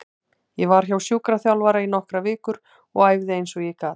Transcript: Ég var hjá sjúkraþjálfara í nokkrar vikur og æfði eins og ég gat.